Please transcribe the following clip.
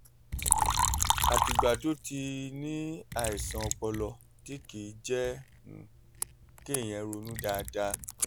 àtìgbà tó ti tó ti ní àìsàn ọpọlọ tí kì í jẹ́ um kéèyàn ronú dáadáa